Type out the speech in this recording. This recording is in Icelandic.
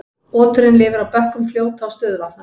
Oturinn lifir á bökkum fljóta og stöðuvatna.